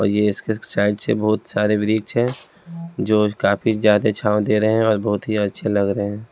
और ये इसके साइड से बहुत सारे वृक्ष हैं जो काफी ज्यादा छाव दे रहे हैं और बहुत ही अच्छे लग रहे हैं।